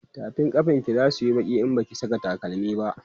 tafin kafan ki zasuyi Baki in Baki Saka takalami